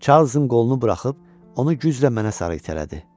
Charlesın qolunu buraxıb onu güclə mənə sarı itələdi.